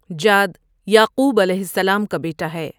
جاد یعقوب علیہ السلام کا بیٹا ہے ۔